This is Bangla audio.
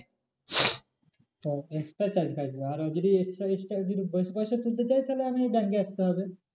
extra charge কাটবে আর ও যদি extra, extra যদি বেশি পয়সা তুলতে চাই তাহলে এমনি bank এ আসতে হবে।